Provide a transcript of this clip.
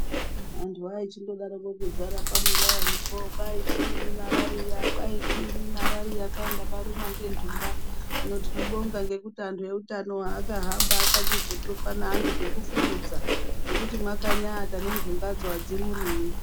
Vantu vaichindo daroko kudzara pa muraini po kwai chiinyi marariya kwai chinyi marariya kwai ndakarumwa nge ndunga hino tinobonga ngekuti antu eutano aka hamba akachi zotopa ne antu zveku fukidza zvekuti makanya ata ne ndunga dzo adzi murumi.